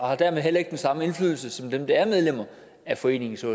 har dermed heller ikke den samme indflydelse som dem der er medlemmer af foreningen så